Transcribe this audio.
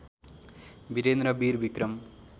Birendra Vir Vikram